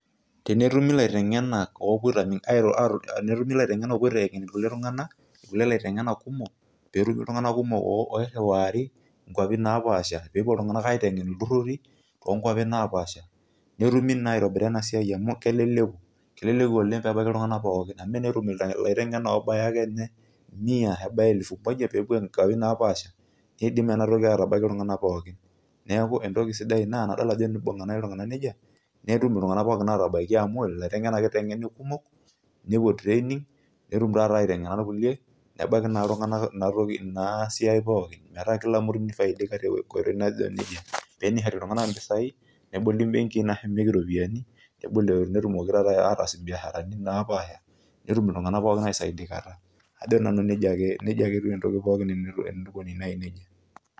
Tenetumi ilaitengenak opuo aitengen kulie tunganak kelie laitengenak kumok petum , petumi iltunganak kumok oiriwari nkwapi naapasha, pepuo iltunganak aitengen iltururi toonkwapi naapasha netumi naa aitobira enasiai amu keleleku , keleleku oleng peebaiki iltunganak amu enetum ilaitengenak obaya ake mia ama elfu moja pepuo aitengen iltunganak nkwapi naapasha , nidim enatoki atabaiki iltunganak pookin , neeku entoki sidai ina, nadol ajo tenibunga nai iltunganak nejia , netum iltunganak atabaiki amu ilaitengenak ake itengeni kumok, nepuo training netum taata aitengena irkulie , nebaiki naa iltunganak inatoki, inasiai pookin metaa kila mtu nifaidika tenkoitoi naijo nejia pee enishori iltunganak impisai , neboli imbenki ashu epiki iropiyiani netumoki taa ataas biashara naapasha , netumiltunganak pookin aisaidikata , ajo nanu nejia ake, nejia ake etiu entoki pookin tenikoni naji nejia.